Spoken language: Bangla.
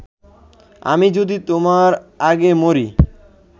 আমি যদি তোমার আগে মরি